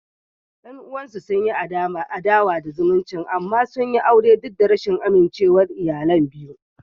Yan uwansu sun yi adawa da zumuncin amma sun yi aure duk da rashin amincewar iyalan biyu.